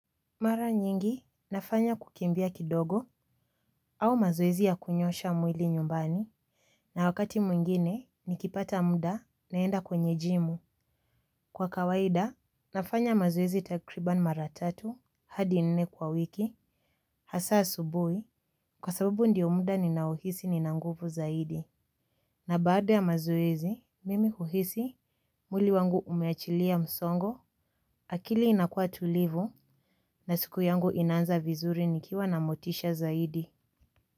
Mara nyingi nafanya kukimbia kidogo au mazoezi ya kunyoosha mwili nyumbani na wakati mwingine nikipata muda naenda kwenye gym. Kwa kawaida nafanya mazoezi takriban mara tatu hadi nne kwa wiki hasa asubui kwa sababu ndiyo muda ninaohisi nina nguvu zaidi. Na baada ya mazoezi, mimi huhisi mwili wangu umeachilia msongo, akili inakua tulivu na siku yangu inaanza vizuri nikiwa na motisha zaidi.